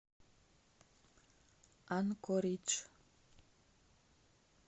анкоридж